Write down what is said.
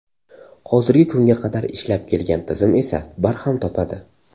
Hozirgi kunga qadar ishlab kelgan tizim esa barham topadi.